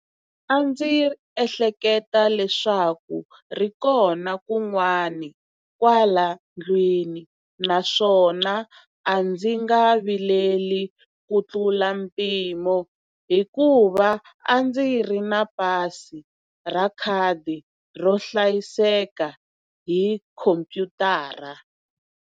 A ndzi ehleketa leswaku ri kona kun'wana kwala ndlwini naswona a ndzi nga vileli kutlula mpimo hikuva a ndzi ri na pasi ra khadi ro hlayeka hi khomphyutara.